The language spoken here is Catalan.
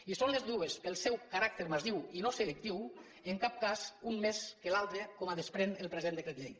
i són les dues pel seu caràcter massiu i no selectiu en cap cas un més que l’altre com es desprèn del present decret llei